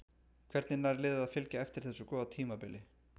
Hvernig nær liðið að fylgja eftir þessu góða tímabili?